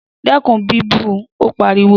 Dẹ́kun bíbú u! Ó pariwo.